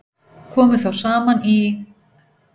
Komu þá saman í